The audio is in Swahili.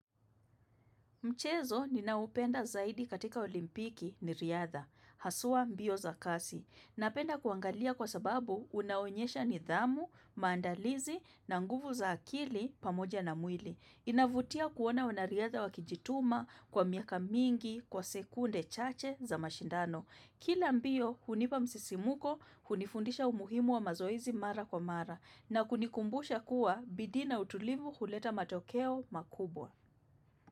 Mchezo ninaoupenda zaidi katika olimpiki ni riadha. Haswa mbio za kasi. Napenda kuangalia kwa sababu unaonyesha nidhamu, maandalizi na nguvu za akili pamoja na mwili. Inavutia kuona wanariadha wakijituma kwa miaka mingi kwa sekunde chache za mashindano. Kila mbio hunipa msisimuko, hunifundisha umuhimu wa mazoezi mara kwa mara na kunikumbusha kuwa bidii na utulivu huleta matokeo makubwa.